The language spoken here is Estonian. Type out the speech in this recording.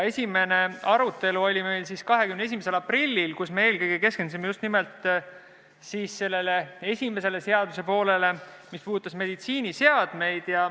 Esimene arutelu oli meil 21. aprillil, kui me eelkõige keskendusime just nimelt esimesele seaduse poolele, mis puudutab meditsiiniseadmeid.